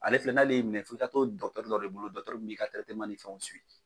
Ale filɛ n'ale y'i minɛ fo i ka to dɔgɔtɔrɔ dɔ de bolo dɔgɔtɔrɔ min b'i ka ni fɛnw